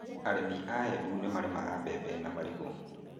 Arĩmi a Embu nĩ marĩmaga maembe na marigũ.